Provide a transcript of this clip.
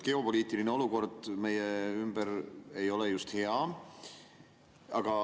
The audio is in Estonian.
Geopoliitiline olukord meie ümber ei ole just hea.